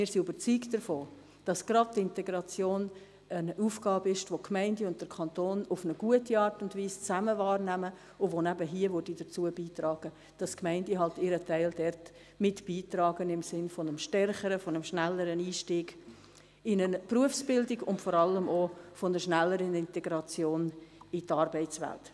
Wir sind überzeugt davon, dass gerade die Integration eine Aufgabe ist, die der Kanton und die Gemeinden auf eine gute Art und Weise gemeinsam wahrnehmen, was hier mithelfen würde, dass die Gemeinden ihren Teil nun einmal dazu beitragen, im Sinn eines stärkeren, eines schnelleren Einstiegs in eine Berufsbildung und vor allem einer schnelleren Integration in die Arbeitswelt.